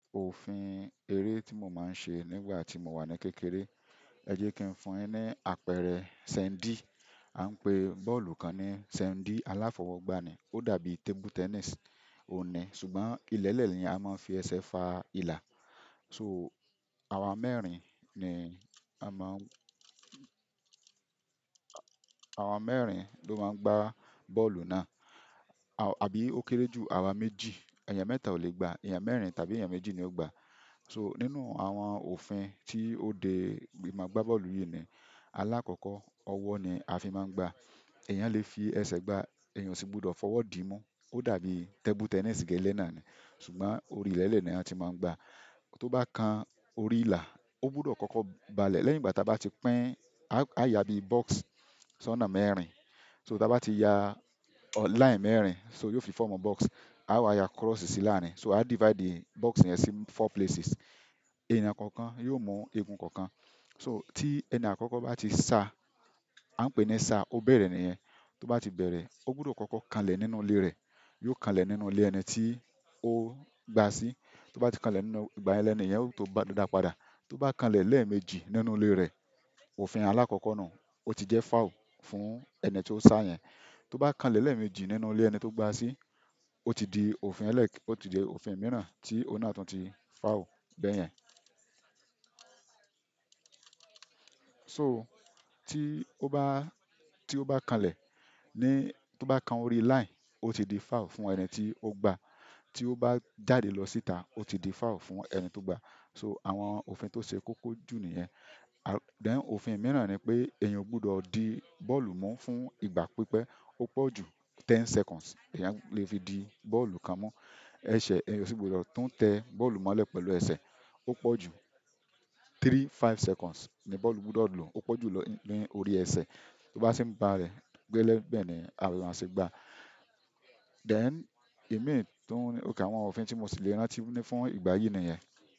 Òfin eré tí mo máa ń ṣe nígbà tí mo wà ní kékeré, ẹ jẹ́ kí n fún yin ní àpẹẹrẹ, sandy, a ń pè bọ́ọ̀lù kan ní sandy aláfọwọ́gbá ni. Ó dàbí table tennis ọ̀un ni, ṣùgbọ́n ilẹ̀lẹ̀ ni a máa ń fi ẹsẹ̀ fa ìlà. So àwa mẹ́rin ni a máa ń, àwa mẹ́rin ló máa ń gbá bọ́ọ̀lù náà àbí ó kéré jù àwa méjì, èèyàn mẹ́ta ò lè gbàá, èèyàn mẹ́rin tàbí èèyàn méjì ni ó gbá. So nínú àwọn òfin tí ó dé máa gbá bọ́ọ̀lù yìí ni alákọ̀ọ́kọ́ ọwọ́ ni a fi máa ń gbá. Ẹ̀yàn lè fi ẹsẹ̀ gbá, èèyàn o sì gbúdọ̀ fọwọ́ dí mu. Ó dàbí table tennis gẹ́lẹ́ náà ni, ṣùgbọ́n orí ilẹ̀lẹ̀ ni a ti máa ń gbá. Tó bá kan orí ìlà, ó gbúdọ̀ kọ́kọ́ balẹ̀ lẹ́yìn ìgbà tí a bá ti pín, a yá bí box sọ́nà mẹ́rin. So tí a bá ti ya line mẹ́rin, so yóò fi fomu box. Awa ya cross si laarin, so a divide cross yen si four places. Ẹ̀yàn kọ̀ọ̀kan yóò mú egun kọ̀ọ̀kan. So ti ẹni akoko ba ti sa, a n pe ni sa, o bere niyen. Tó bá ti bẹ̀rẹ̀, ó gbúdọ̀ kọ́kọ́ kanlẹ̀ nínú ilé rẹ̀. Yóò kanlẹ̀ nínú ilé ẹni tí ó gbá sí. Tó bá ti kalẹ̀ nínú ìgbà yẹn lẹ́niyẹn ó tó bá dápadà. To ba kanle lemeeji nínú ile re, òfin alakoko nuu o ti je foul fún ẹni to sa yen. Tó bá kalẹ̀ lẹ́ẹ̀mejì nínú ilé ẹni tí ó gbá sí, ó ti di òfin ẹlẹ́ẹ̀, ó ti di òfin mìíràn tí ó náà tún ti foul bẹ́ẹ̀ yẹn. So tí ó bá, tí ó bá kanlẹ̀ ní, tó bá kan orí line, ó ti di foul fún ẹni tí ó gbá. Tí ó bá jáde lọ síta, ó ti di foul fún ẹni tó gbá. So àwọn òfin tó ṣe kókó jù nìyẹn. Then òfin mìíràn ni pé èèyàn o gbúdọ̀ di bọ́ọ̀lù mu fún ìgbà pípẹ́, ó pọ̀ ju ten seconds, èèyàn lè fi di bọ́ọ̀lù kan mu. Ẹ̀ṣẹ̀ èèyàn sì gbúdọ̀ tún tẹ bọ́ọ̀lù mọ́lẹ̀ pẹ̀lú ẹsẹ̀, ó pọ̀ ju three, five seconds ni bọ́ọ̀lù gbúdọ̀ lò. Ó pọ̀ ju lò ni órí ẹsẹ̀. Tó bá se ń ba lẹ̀, gẹ́lẹ́ bẹ́ẹ̀ ni à maa se gbá. Then imii tún, okay àwọn òfin tí mo sì lè rántí ni fún ìgbà yìí nìyẹn.